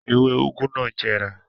Ewé úgú náà jẹrà.